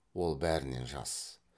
ол бәрінен жас